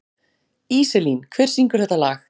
Íselín, hver syngur þetta lag?